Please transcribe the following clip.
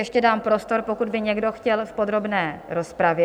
Ještě dám prostor, pokud by někdo chtěl v podrobné rozpravě?